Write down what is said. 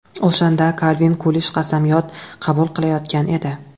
O‘shanda Kalvin Kulij qasamyod qabul qilayotgan edi.